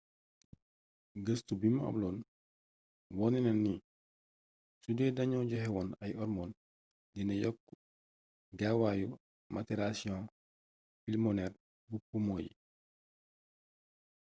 gëstu bimu amloon wone na ni sudee dañoo joxewoon ay ormoon dina yokk gaawaayu matirasiyon pilmoneer bu pumo yi